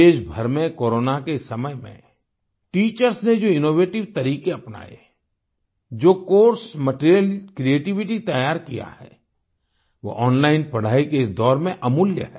देशभर में कोरोना के इस समय में टीचर्स ने जो इनोवेटिव तरीके अपनाये जो कोर्स मटीरियल क्रिएटिवली तैयार किया है वो ओनलाइन पढ़ाई के इस दौर में अमूल्य है